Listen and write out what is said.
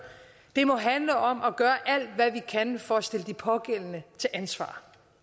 det må handle om at gøre alt hvad vi kan for at stille de pågældende til ansvar